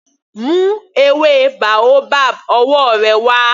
Mú ewé boabab ọwọ́ rẹ wá.